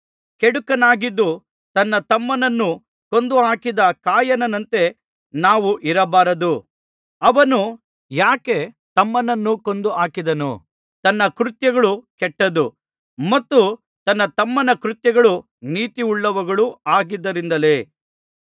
ಕೆಡುಕುನಾಗಿದ್ದು ತನ್ನ ತಮ್ಮನನ್ನು ಕೊಂದುಹಾಕಿದ ಕಾಯಿನನಂತೆ ನಾವು ಇರಬಾರದು ಅವನು ಯಾಕೆ ತಮ್ಮನನ್ನು ಕೊಂದು ಹಾಕಿದನು ತನ್ನ ಕೃತ್ಯಗಳು ಕೆಟ್ಟದ್ದು ಮತ್ತು ತನ್ನ ತಮ್ಮನ ಕೃತ್ಯಗಳು ನೀತಿಯುಳ್ಳವುಗಳೂ ಆಗಿದ್ದುದರಿಂದಲೇ